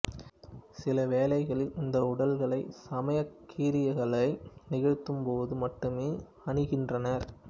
சில வேளைகளில் இந்த உடைகளைச் சமயக் கிரியைகளை நிகழ்த்தும்போது மட்டுமே அணிகின்றனர்